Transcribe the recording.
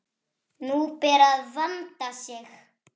Nú ber að vanda sig!